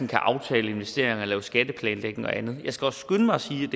kan aftale investeringer og lave skatteplanlægning og andet jeg skal også skynde mig at sige